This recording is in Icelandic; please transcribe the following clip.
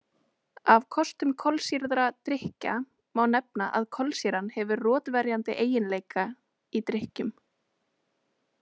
Af kostum kolsýrðra drykkja má nefna að kolsýran hefur rotverjandi eiginleika í drykkjum.